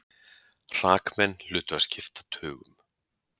Hrakmennin hlutu að skipta tugum.